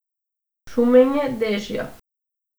Šumenje dežja.